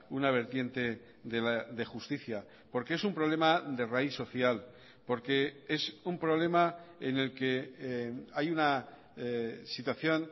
una vertiente de justicia porque es un problema de raíz social porque es un problema en el que hay una situación